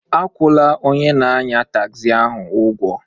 Akwụla onye na-anya tagzi ahụ ụgwọ